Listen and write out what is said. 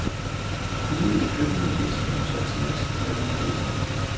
Ude i køkkenet hvisker hun så til os, hvad vi har brug for.